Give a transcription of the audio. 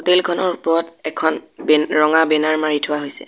Hotel খনৰ ওপৰত এখন বে ৰঙা বেনাৰ মাৰি থোৱা হৈছে।